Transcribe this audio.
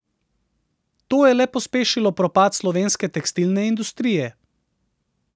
To je le pospešilo propad slovenske tekstilne industrije.